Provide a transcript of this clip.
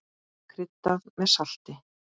Kryddað með salti.